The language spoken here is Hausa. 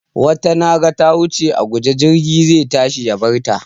Wata na ga ta wuce a guje jirgi zai tashi ya bar ta.